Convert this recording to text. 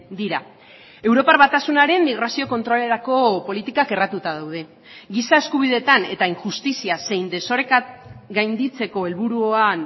dira europar batasunaren migrazio kontrolerako politikak erratuta daude giza eskubideetan eta injustizia zein desoreka gainditzeko helburuan